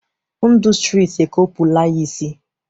Ndụ stritị e kopula ya ịsị